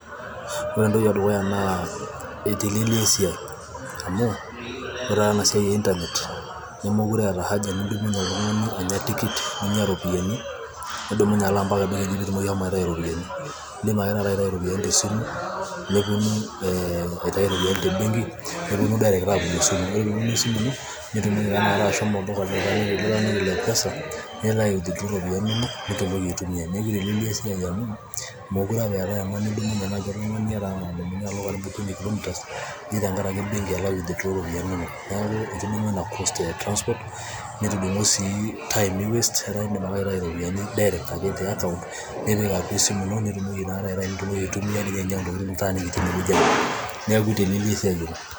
ore entoki edukuya naa eiteleliaa esiai ,amu ore ena siai e internet ,nemeitoki oltungani anya tikit, nimiya iropiyiani, nidumunye ashomo mpaka benki aitayu iropiyiani, idim aje taata aitayu iropiyiani te simu te benki nepuonu aapuonu direct mpaka esimu ino. ore pee epuonu esimu ino, nitumoki ashomo olduka nintayu iropiyiani nitumoki aitayu iropiyiani inonok ,neeku iteleliaa esiai amu meekure apa inyiototo oltungani, nidumunye oltungani alo inkilomitani eji alo benki aitayu iropiyiani. neeku etudungo Ina cost e transport, nitudung'udung'o sii time ni waste, etaa idim ake aitau iropiyiani direct ,ake te account ,nipik ake esimu ino , nitumoki aitumia, neeku iteleliaa esiai oleng.